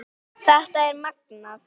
Þetta er magnað.